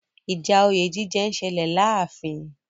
Ìjà òye jíjẹ ń ṣẹlẹ̀ láàfin.